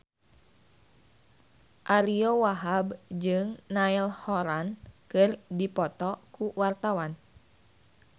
Ariyo Wahab jeung Niall Horran keur dipoto ku wartawan